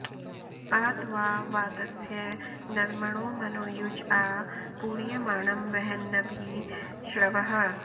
आ त्वा॒ वात॑स्य नृमणो मनो॒युज॒ आ पूर्य॑माणमवहन्न॒भि श्रवः॑